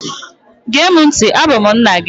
Gee mụ ntị! Abụ m nna gị!